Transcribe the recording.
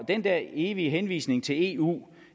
den der evige henvisning til eu